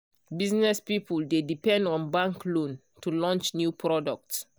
business people dey depend on bank loan to launch new product.